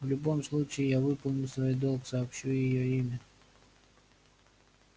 в любом случае я выполню свой долг сообщу её имя